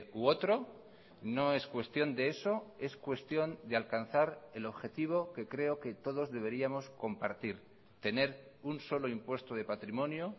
u otro no es cuestión de eso es cuestión de alcanzar el objetivo que creo que todos deberíamos compartir tener un solo impuesto de patrimonio